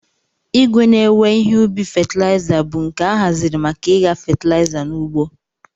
Igwe ne-ewe ihe ubi fatlaiza bu nke ahaziri maka igha fatilaiza n'ugbo.